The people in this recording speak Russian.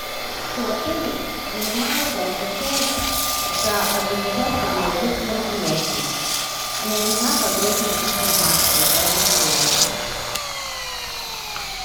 кто в отеле занимается и отвечает за организацию деловых мероприятий мне нужна подробная информация по этому поводу